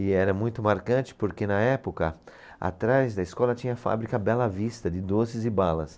E era muito marcante porque na época atrás da escola tinha a fábrica Bela Vista de doces e balas.